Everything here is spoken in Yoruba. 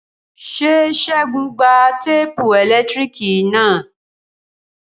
Ṣé Segun gba téèpù ẹ̀lẹ́tíríkì na?